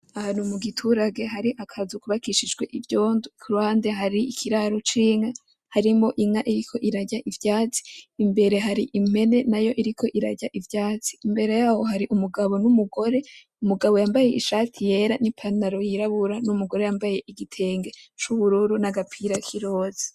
Ahantu mu giturage hari akazu kubakishijwe ivyondo, kuruhande hari ikiraro c'inka harimwo inka iriko irarya ivyatsi, imbere hari impene nayo iriko irarya ivyatsi, imbere yaho hari umugabo; n'umugore, umugabo yambaye ishati yera; n'ipantaro yirabura, n'umugore yambaye igitenge c'ubururu; n'agapira kiroza.